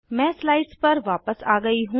मैं स्लाइड्स पर वापस आ गयी हूँ